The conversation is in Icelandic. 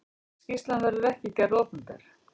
Skýrslan verður ekki gerð opinber.